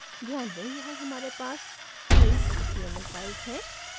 ध्यान दें यहाँ हमारे पास तीन html files हैं